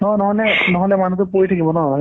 নহ'লে মানুহতো পৰি থাকিব ন